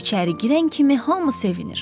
O içəri girən kimi hamı sevinir.